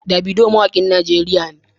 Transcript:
Davido mawakin Najeriya ne.